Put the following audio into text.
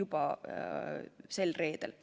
juba sel reedel.